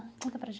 Conta para